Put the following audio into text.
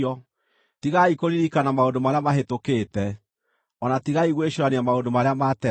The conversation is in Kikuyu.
“Tigai kũririkana maũndũ marĩa mahĩtũkĩte; o na tigai gwĩcũũrania maũndũ marĩa ma tene.